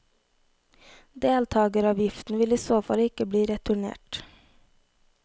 Deltageravgiften vil i så fall ikke bli returnert.